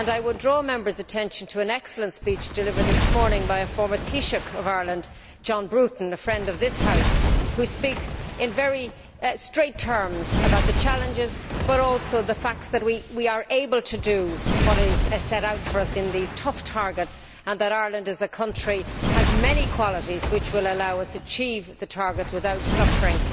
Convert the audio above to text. I would draw Members' attention to an excellent speech delivered this morning by a former Taoiseach of Ireland, John Bruton, a friend of this House, who speaks in very straight terms about the challenges, but also the fact that we are able to do what is set out for us in these tough targets and that Ireland as a country has many qualities which will allow us to achieve the targets without suffering.